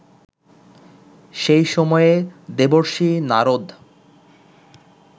সেই সময়ে দেবর্ষি নারদ